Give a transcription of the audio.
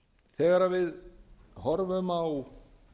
þegar við horfum á